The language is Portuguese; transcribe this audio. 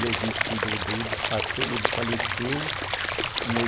E a gente cuidou dele até ele falecer em oi